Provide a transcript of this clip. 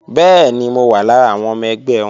Bẹ́ẹ̀ni, mo wà lára àwọn ọmọ ẹgbẹ́ wọn